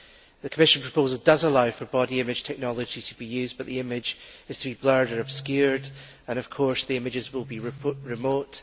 The Commission proposal does allow for body image technology to be used, but the image is to be blurred and obscured and of course the images will be remote.